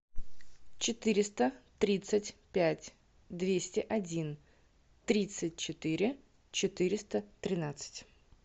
четыреста тридцать пять двести один тридцать четыре четыреста тринадцать